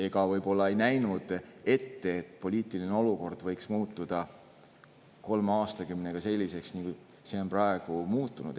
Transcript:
Me võib-olla ei näinud ette, et poliitiline olukord võiks kolme aastakümnega muutuda selliseks, nagu see on praeguseks muutunud.